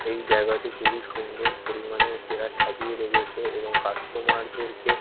এই জায়গাটি খুবই সুন্দর পরিমাণে এরা সাজিয়ে রেখেছে এবং কাস্টমার -দেরকে--